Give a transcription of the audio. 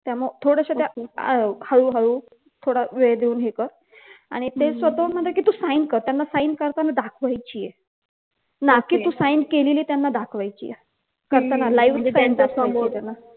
त्यामुळं थोडस त्या अह हळू हळू थोडा वेळ देऊन हे कर आणि ते स्वतःहून म्हणतात कि तू sign कर त्यांना sign करताना दाखवायचीये ना कि तू sign केलेली दाखवायचेय करताना म्हणजे live त्यांच्या समोर